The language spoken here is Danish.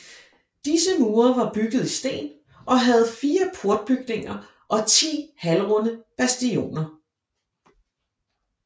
Disse mure var bygget i sten og havde 4 portbygninger og 10 halvrunde bastioner